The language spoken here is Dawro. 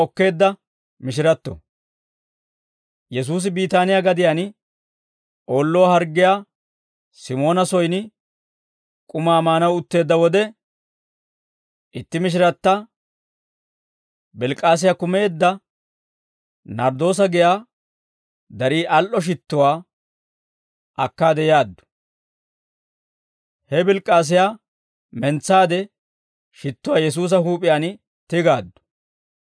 Yesuusi Biitaaniyaa gadiyaan oolluwaa harggiyaa Simoona soyin k'umaa maanaw utteedda wode, itti mishiratta albass's'iroosa baaretaa kumeedda narddoosa giyaa darii al"o shittuwaa akkaade yaaddu; he albbass's'iroosa baareeta mentsaade shittuwaa Yesuusa huup'iyaan tigaaddu.